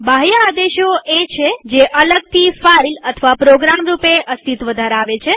બાહ્ય આદેશો એ છે જે અલગથી ફાઈલપ્રોગ્રામ રૂપે અસ્તિત્વ ધરાવે છે